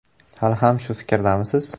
Hali ham shu fikrdamisiz?